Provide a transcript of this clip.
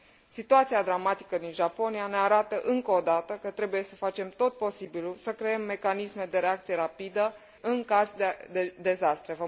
Situația dramatică din Japonia ne arată, încă o dată, că trebuie să facem tot posibilul să creăm mecanisme de reacție rapidă în caz de dezastre.